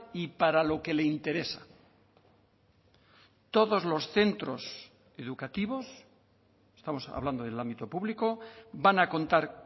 y para lo que le interesa todos los centros educativos estamos hablando del ámbito público van a contar